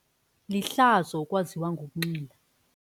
Lihlazo ukwaziwa ngokunxila.